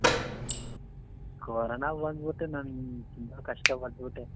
corona ಬಂದ್ ಬಿಟ್ಟು ನಂಗ್ ತುಂಬಾ ಕಷ್ಟ ಪಟ್ಬಿಟ್ಟೆ